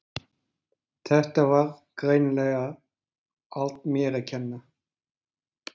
Þetta var greinilega allt mér að kenna.